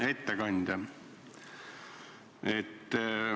Hea ettekandja!